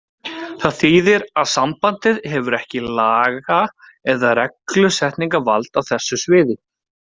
Það þýðir að sambandið hefur ekki laga- eða reglusetningarvald á þessu sviði.